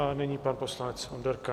A nyní pan poslanec Onderka.